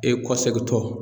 E kɔsegin tɔ